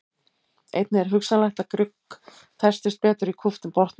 Einnig er hugsanlegt að grugg festist betur í kúptum botni.